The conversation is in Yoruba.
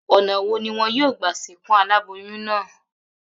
Ò̩nà wo ni wo̩n óò gbà sìnkú aláboyún náà?